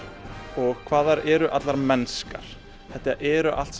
og hvað þær eru allar mennskar þetta eru allt